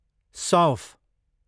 सौँफ